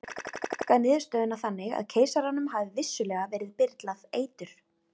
margir hafa túlkað niðurstöðuna þannig að keisaranum hafi vissulega verið byrlað eitur